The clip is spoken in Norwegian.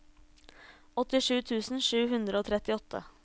åttisju tusen sju hundre og trettiåtte